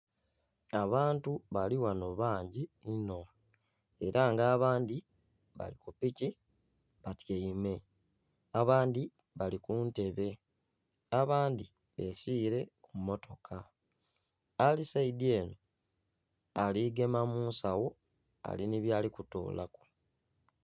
Abantu bali ghano bangi inho era nga abandhi bali kupiki batyaime, abandhi bali kuntebe, abandhi basire ku mmotoka. Ali saidi ere ali gema munsawo ali ni byali kutolaku.